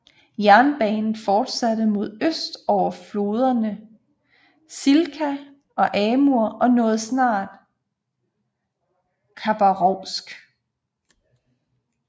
Jernbanen fortsatte mod øst over floderne Chilka og Amur og nåede snart Khabarovsk